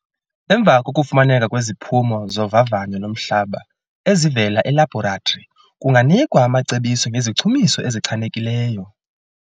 Emva kokufumaneka kweziphumo zovavanyo lomhlaba ezivela elabhoratri, kunganikwa amacebiso ngezichumiso ezichanekileyo.